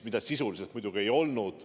Sisuliselt see muidugi nii ei olnud.